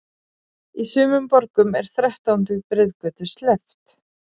Í sumum borgum er þrettándu breiðgötu sleppt.